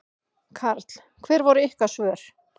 Karl: Hver voru ykkar svör?